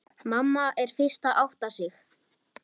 Helgi reyndi að brosa en átti erfitt með það.